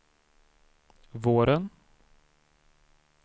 våren